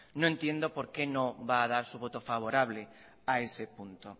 no entiendo por qué no va a dar su voto favorable a ese punto